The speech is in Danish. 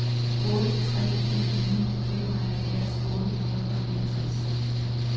otte tre en ni femoghalvfjerds otte hundrede og niogtres